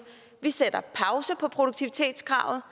vi sætter produktivitetskravet